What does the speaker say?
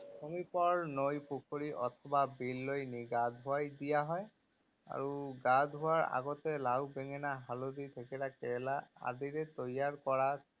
সমীপৰ নৈ পুখুৰী অথবা বিললৈ নি গা ধুৱাই দিয়া হয় আৰু গা ধুওৱাৰ আগতে লাও, বেঙেনা, হালধি, থেকেৰা, কেৰেলা আদিৰে তৈয়াৰ কৰা ছাট